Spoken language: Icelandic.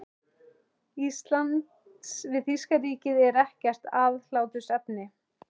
Íslands við þýska ríkið, er ekkert aðhlátursefni.